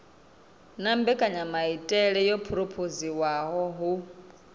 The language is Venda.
na mbekanyamaitele yo phurophoziwaho hu